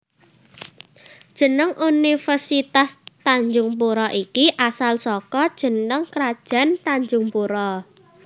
Jeneng Universitas Tanjungpura iki asal saka jeneng Krajaan Tanjungpura